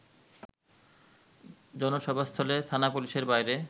জনসভাস্থলে থানা পুলিশের বাইরে